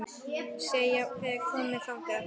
Sé jafnvel komið þangað!